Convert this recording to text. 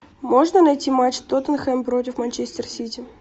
можно найти матч тоттенхэм против манчестер сити